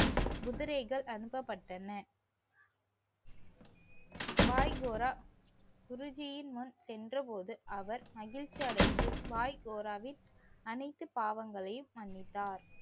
குதிரைகள் அனுப்பபட்டன. பாய் கோரா குருஜீயின் முன் சென்ற போது அவர் மகிழ்ச்சி அடைந்து பாய் கோராவின் அனைத்து பாவங்களையும் மன்னித்தார்.